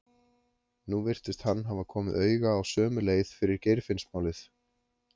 Nú virtist hann hafa komið auga á sömu leið fyrir Geirfinnsmálið.